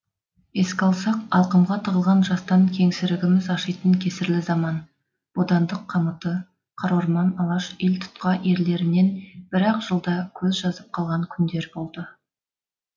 еске алсақ алқымға тығылған жастан кеңсірігіміз ашитын кесірлі заман бодандық қамыты қара орман алаш елтұтқа ерлерінен бір ақ жылда көз жазып қалған күндер болды